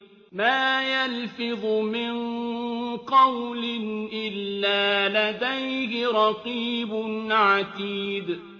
مَّا يَلْفِظُ مِن قَوْلٍ إِلَّا لَدَيْهِ رَقِيبٌ عَتِيدٌ